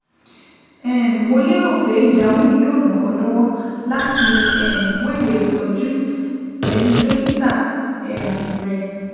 um Mo lérò pé ìdáhùn yìí yóò ràn ọ́ lọ́wọ́ láti um wéwèé ìtọ́jú pẹ̀lú dókítà um rẹ